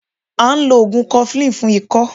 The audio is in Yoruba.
À n lo ògùn 'cofflin fún ikọ́